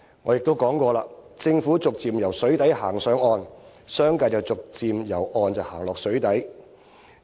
我也說過，政府逐漸由水底走上岸，商界逐漸由岸上走進水底。